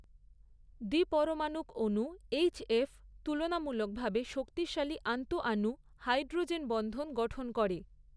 দ্বিপরমাণুক অণু এইচএফ তুলনামূলকভাবে শক্তিশালী আন্তঃআণু হাইড্রোজেন বন্ধন গঠন করে।